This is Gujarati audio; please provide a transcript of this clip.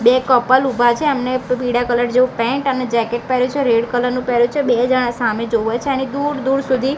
બે કપલ ઉભા છે એમને પીળા કલર જેવું પેન્ટ અને જેકેટ પેહેર્યું છે રેડ કલર નું પેહેર્યું છે બે જાણા સામે જોવે છે એની દૂર દુર સુધી--